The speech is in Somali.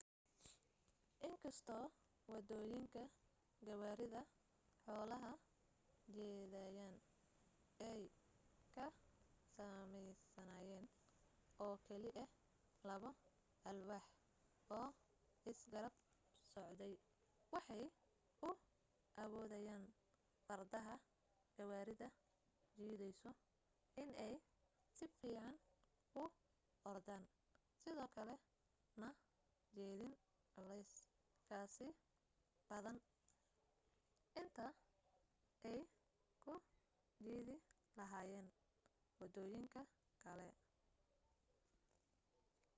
inkastoo wadooyinka gawaarida xoolaha jiidayeen ay ka sameysnaayeen oo keli ah labo alwaax oo isgarab socday waxay u awoodaayeen fardaha gawaarida jiidayso inay si fiican u ordaan sidoo kale na jiidaan culees ka sii badan inta ay ku jiidi lahaayeen wadooyinka kale